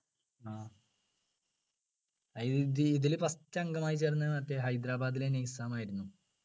ആഹ് ഇത് ഇതില് first അംഗമായി ചേർന്നത് മറ്റേ ഹൈദരാബാദിലെ നിസാമായിരുന്നു